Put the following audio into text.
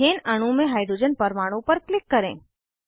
ethane अणु में hydrogen परमाणु पर क्लिक करें